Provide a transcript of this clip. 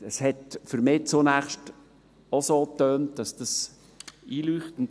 Das hat für mich zunächst auch so getönt, als wäre es einleuchtend.